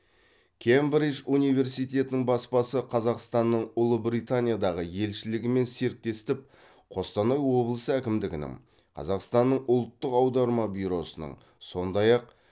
кембридж университетінің баспасы қазақстанның ұлыбританиядағы елшілігімен серіктестіп қостанай облысы әкімдігінің қазақстанның ұлттық аударма бюросының сондай ақ